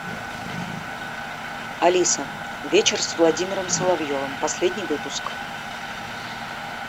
алиса вечер с владимиром соловьевым последний выпуск